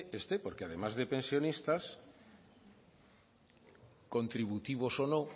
esté porque además de pensionistas contributivos o no